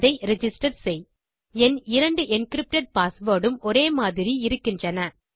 அதை ரிஜிஸ்டர் செய் என் 2 என்கிரிப்டட் பாஸ்வேர்ட் உம் ஒரே மாதிரி இருக்கின்றன